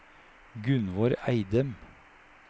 Gunvor Eidem